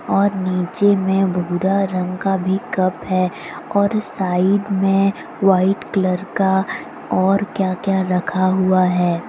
और नीचे में भूरा रंग का भी कप है और साइड में वाइट कलर का और क्या क्या रखा हुआ है।